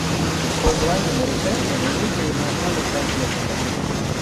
позвони на ресепшн и вызови в наш номер сантехника